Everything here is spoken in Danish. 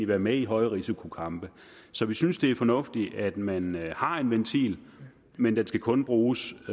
være med i højrisikokampe så vi synes det er fornuftigt at man har en ventil men den skal kun bruges